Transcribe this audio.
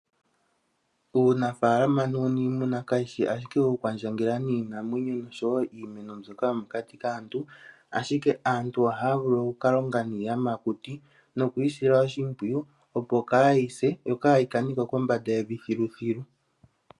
Uunafaalama nuuniimuna kawu shi ashike wokukwandjangela niinamwenyo nosho wo iimuna mbyoka yomokati kaantu, ashike aantu ohaya vulu oku ka longa niiyamakuti noku yi sila oshimpwiyu, opo kaayi se yo kaayi kane ko kombanda yevi thiluthilu.